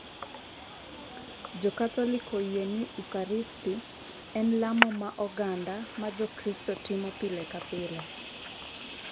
Jo Katholik oyie ni Ukaristi en lamo ma oganda ma Jokristo timo pile ka pile.